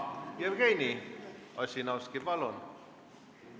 Jevgeni Ossinovski, palun!